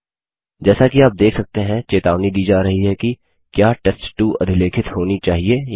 जैसा कि आप देख सकते हैं चेतावनी दी जा रही है कि क्या टेस्ट2 अधिलेखित होनी चाहिए या नहीं